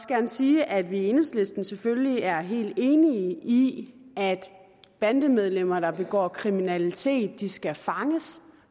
gerne sige at vi i enhedslisten selvfølgelig er helt enige i at bandemedlemmer der begår kriminalitet skal fanges